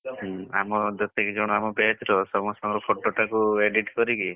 ହୁଁ ଆମ ଯେତିକି ଜଣ ଆମ batch ର ସମସ୍ତଙ୍କ photo ଟାକୁ edit କରିକି,